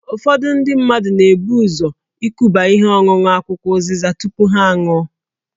Ụfọdụ ndị mmadụ na-ebu ụzọ ikuba ihe ọṅụṅụ akwụkwọ ụzịza tupu ha aṅụọ